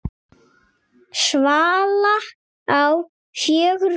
Svala á fjögur börn.